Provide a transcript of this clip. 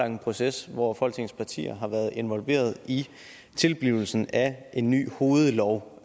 en proces hvor folketingets partier har været involveret i tilblivelsen af en ny hovedlov